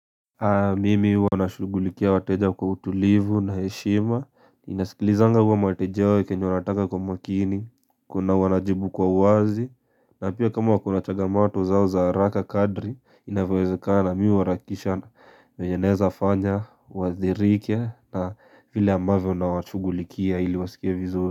Mimi huwa nashugulikia wateja kwa utulivu na heshima ninasikilizanga hivi mahitaji au kenye wanataka kwa umakini kunao wanajibu kwa uwazi na pia kama kuna changamoto zao za haraka kadri inavyoezekana mi huarakisha venye naeza fanya uadhirike na vile ambavyo nawashugulikia ili wasikie vizuri.